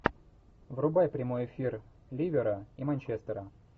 врубай прямой эфир ливера и манчестера